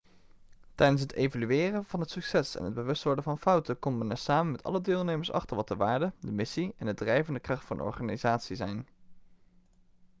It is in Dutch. tijdens het evalueren van het succes en het bewust worden van fouten komt men er samen met alle deelnemers achter wat de waarden de missie en de drijvende kracht van de organisatie zijn